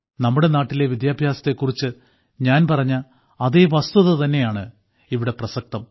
നമ്മുടെ നാട്ടിലെ വിദ്യാഭ്യാസത്തെക്കുറിച്ച് ഞാൻ പറഞ്ഞ അതേ വസ്തുതതന്നെയാണ് ഇവിടെ പ്രസക്തം